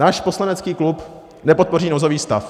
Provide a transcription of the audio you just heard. Náš poslanecký klub nepodpoří nouzový stav.